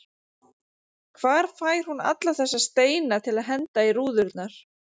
Hvar fær hún alla þessa steina til að henda í rúðurnar?